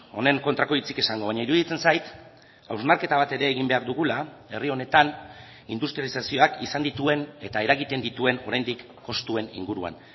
honen kontrako hitzik esango baina iruditzen zait hausnarketa bat ere egin behar dugula herri honetan industrializazioak izan dituen eta eragiten dituen oraindik kostuen inguruan